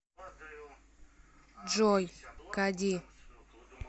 джой кади